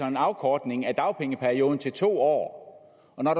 en afkortning af dagpengeperioden til to år og når